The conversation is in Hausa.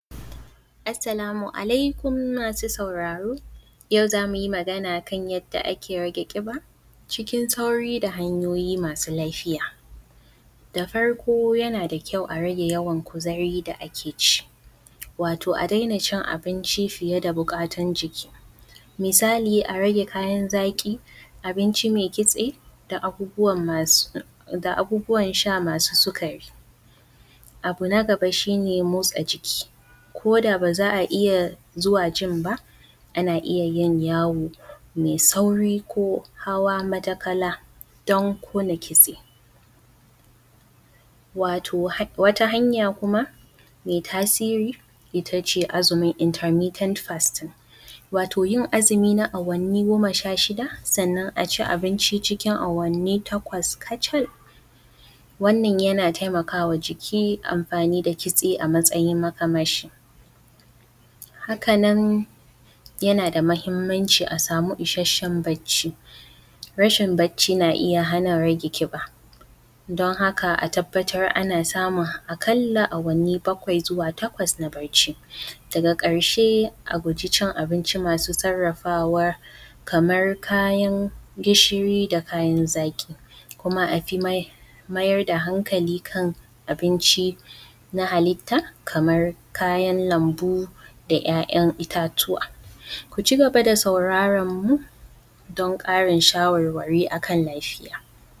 Assalamu alaikum masu sauraro yau za mu yi magana kan yadda ake rage ƙiba cikin sauri da hanyoyi masu lafiya da farko yana da kyau a rage yawan kuzari da ake ci wato a dena cin abinci fiye da buƙatan ciki, misali a rage kayan zaƙi. Abinci mai kitse da abubuwa wasu da abubuwan sha masu sikari, abu na gaba shi ne motsa jiki ko da ba za a iya zuwa a jin ba, ana iya yin yawo mai sauri ko hawa matakala don ƙona kitse wato wata hanya kuma me tasiri ita ce azumin litini ten fast wato yin azumi na awanni goma sha shida. Sannan a ci abinci cikin awanni takwas kacal, wanna yana taimaka ma jiki amfani da kitse a matsayin matakaci hakan nan yana da mahinamci a samu isashen bacci, rashin bacci na iya hana rage ƙiba don haka a tabbatar ana samun a ƙalla awani bakwai zuwa takwas na bacci. Daga ƙarshe a guji cin abinci masu sarrafawa kamar kayan gishiri da kyan zaƙi kuma a fi mayar da hankali kan abinci na halitta kaman kayan lambu da kayan itatuwa, ku cigaba da sauraran mu don ƙarin shawarwari akan lafiya.